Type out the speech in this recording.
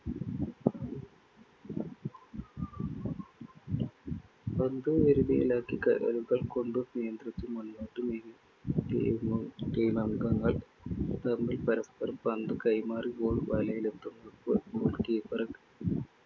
പന്തു വരുതിയിലാക്കി കാലുകൾ കൊണ്ടു നിയന്ത്രിച്ച്‌ മുന്നോട്ടു നീങ്ങി, team team അംഗങ്ങൾ തമ്മിൽ പരസ്പരം പന്തു കൈമാറി goal വലയിൽ